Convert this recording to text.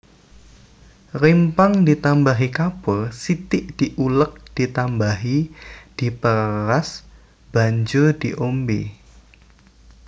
Rimpang ditambahi kapur sithik diulek ditambahi diperas banjur diombe